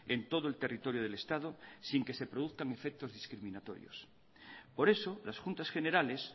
en todo el territorio del estado sin que se produzcan efectos discriminatorios por eso las juntas generales